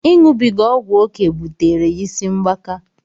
Iṅụbiga ọgwụ oké butere ya ịsị mgbaka.